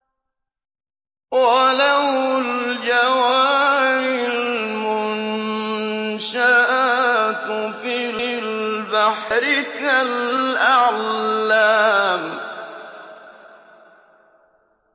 وَلَهُ الْجَوَارِ الْمُنشَآتُ فِي الْبَحْرِ كَالْأَعْلَامِ